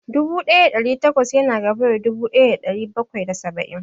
Dubu ɗaya da ɗari takwas ya na gaba da dubu ɗaya da ɗari bakwai da saba'in